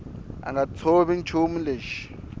a nga tshovi nchumu lexi